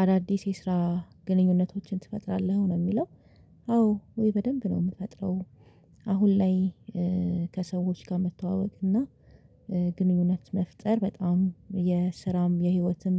አዳዲስ የስራ ግንኙነቶችን ትፈጥራለህ ነው የሚለው? አዎ ወይ በደንብ ነው የምፈጥረው። አሁን ላይ ከሰዎች ጋር መተዋወቅ እና ግንኙነት መፍጠር በጣም የስራም የህይወትም